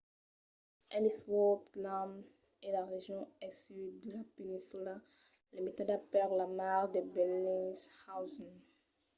ellsworth land es la region al sud de la peninsula limitada per la mar de bellingshausen